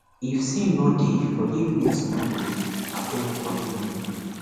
if sin no deyforgiveness no go deyabeggg forgive me